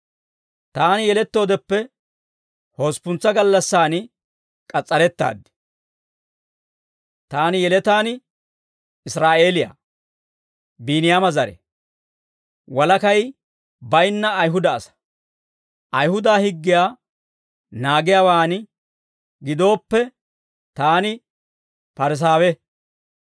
Taani yelettoodeppe hosppuntsa gallassaan k'as's'arettaad. Taani yeletaan Israa'eeliyaa; Biiniyaama zare; walakay bayinna Ayihuda asaa. Ayihuda higgiyaa naagiyaawaan gidooppe, taani Parisaawe;